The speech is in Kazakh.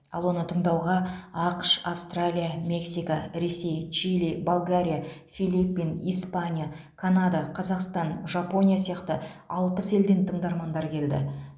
ал оны тыңдауға ақш австралия мексика ресей чили болгария филиппин испания канада қазақстан жапония сияқты алпыс елден тыңдармандар келді